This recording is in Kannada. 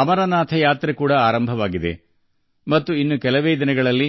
ಅಮರನಾಥ ಯಾತ್ರೆಯೂ ಆರಂಭವಾಗಿದ್ದು ಇನ್ನೇನು ಕೆಲವೇ ದಿನಗಳಲ್ಲಿ